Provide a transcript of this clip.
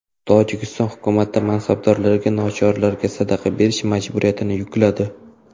Tojikiston hukumati mansabdorlarga nochorlarga sadaqa berish majburiyatini yukladi .